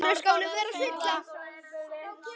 Eða var það ekki þá?